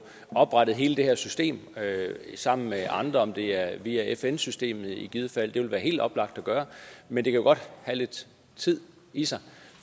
oprettet hele det her system sammen med andre om det er via fn systemet i givet fald det ville være helt oplagt at gøre men det kan godt have lidt tid i sig